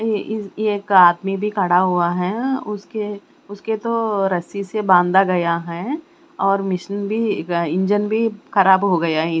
ए इ एक आदमी भी खड़ा हुआ है उसके उसके तो रस्सी से बांदा गया हैं और मिशन भी इंजन भी खराब हो गया हैं।